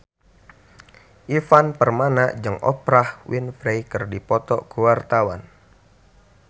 Ivan Permana jeung Oprah Winfrey keur dipoto ku wartawan